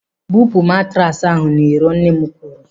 "Bupu matraasi ahụ n'iro," Nne m kwuru.